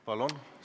Palun!